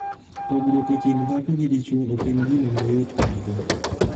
Pogruok e kind dhako kod dichwo ok en gino mayot kadhe.